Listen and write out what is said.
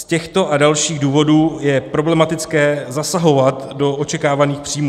Z těchto a dalších důvodů je problematické zasahovat do očekávaných příjmů.